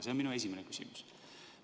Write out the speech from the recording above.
See on minu esimene küsimus.